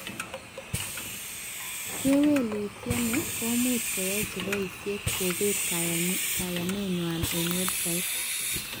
Kewelutiet ni komuch koyai cheboishee kobet kayanet nwai en website